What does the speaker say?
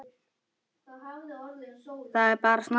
Það er bara snakk.